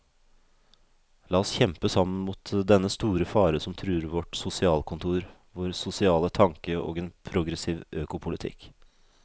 La oss kjempe sammen mot dennne store fare som truer vårt sosialkontor, vår sosiale tanke og en progressiv økopolitikk.